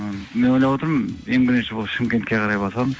ы мен ойлап отырмын ең бірінші болып шымкентке қарай барсам